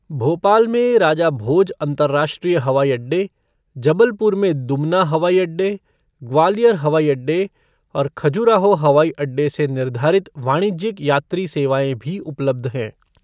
भोपाल में राजा भोज अंतर्राष्ट्रीय हवाई अड्डे, जबलपुर में दुमना हवाई अड्डे, ग्वालियर हवाई अड्डे और खजुराहो हवाई अड्डे से निर्धारित वाणिज्यिक यात्री सेवाएँ भी उपलब्ध हैं।